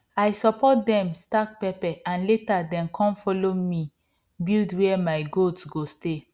i support dem stake pepper and later dem com follow me build where my goat go stay